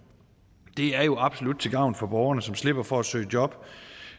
det er jo absolut til gavn for borgerne som slipper for at søge job